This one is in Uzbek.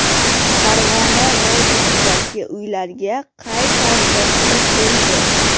Farg‘ona vodiysidagi uylarga qay tarzda suv keldi?.